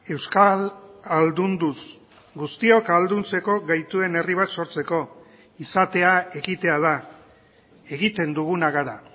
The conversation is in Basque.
euskal ahaldunduz guztiok ahalduntzeko gaituen herri bat sortzeko izatea ekitea da egiten duguna gara